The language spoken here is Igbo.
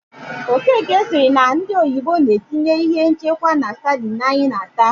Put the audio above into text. Okeke sịrị na ndị oyibo na-etinye ihe nchekwa na sadịn anyị na- ata.